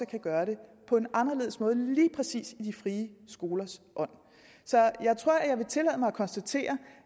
kunne gøre det på en anderledes måde lige præcis i de frie skolers ånd så jeg tror at jeg vil tillade mig at konstatere